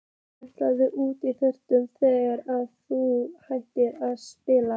Ætlarðu út í þjálfun þegar að þú hættir að spila?